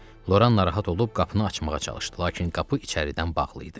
Loran narahat olub qapını açmağa çalışdı, lakin qapı içəridən bağlı idi.